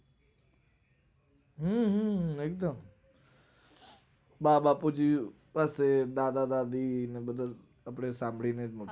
હમ હમ એકદમ બા બાપુજી કોઈક બા દાદી મતલબ આપડે સાંભળીને જ